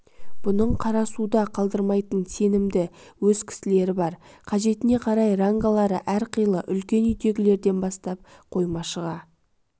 бұның қара суда қалдырмайтын сенімді өз кісілері бар қажетіне қарай рангалары әрқилы үлкен үйдегілерден бастап қоймашыға